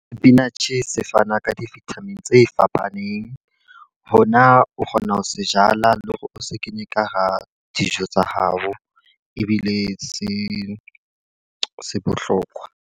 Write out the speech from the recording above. Spinach se fana ka di-vitamin tse fapaneng. Hona o kgona ho se jala le hore o se kenye ka hara dijo tsa hao. Ebile se se bohlokwa.